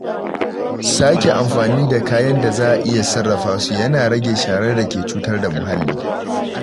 Sake amfani da kayan da za a iya sarrafa su yana rage sharar da ke cutar da muhalli.